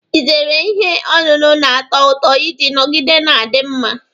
Ị zeere ihe ọṅụṅụ na-ato ụtọ iji nọgide na-adị mma.